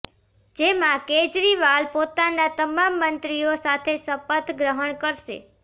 જેમાં કેજરીવાલ પોતાના તમામ મંત્રીઓ સાથે શપથ ગ્રહણ કરશે